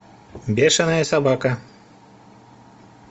бешенная собака